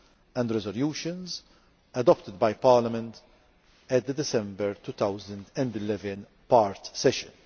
and resolutions adopted by Parliament at the December 2011 part session.